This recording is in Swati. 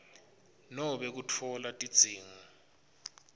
nobe kutfola tidzingo